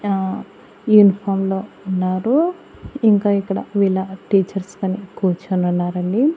ఆ యూనిఫాంలో ఉన్నారు ఇంకా ఇక్కడ వీళ్ళ టీచర్స్ గాని కూర్చొని ఉన్నారండి.